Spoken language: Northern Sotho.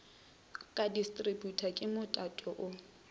ka distributor ke motato o